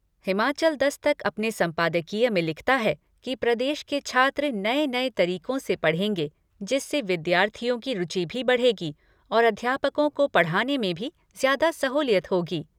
हिमाचल दस्तक अपने संपादकीय में लिखता है कि प्रदेश के छात्र नए नए तरीकों से पढ़ेंगे जिससे विद्यार्थियों की रूचि भी बढ़ेगी और अध्यापकों को पढ़ाने में भी ज्यादा सहुलियत होगी।